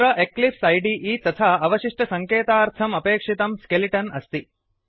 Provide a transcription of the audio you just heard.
अत्र Eclipse IDE तथा अवशिष्टसङ्केतार्थम् अपेक्षितं स्केलिटन् अस्ति